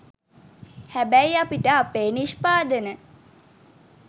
හැබැයි අපිට අපේ නිෂ්පාදන